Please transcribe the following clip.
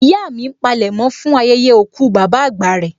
Ìyá mi ń palẹ̀mọ́ fún ayẹyẹ òkú bàbá àgbà rẹ